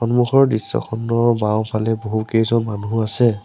সম্মুখৰ দৃশ্যখনৰ বাওঁফালে বহুকেইজন মানুহ আছে।